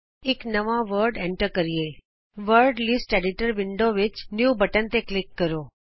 ਚਲੋ ਅਸੀਂ ਇਕ ਨਵਾਂ ਸ਼ਬਦ ਏਂਟਰ ਕਰੀਏ ਵਰਡ ਲਿਸਟ ਐਡੀਟਰ ਵਿੰਡੋ ਵਿਚ ਨਿਊ ਬਟਨ ਤੇ ਕਲਿਕ ਕਰੋ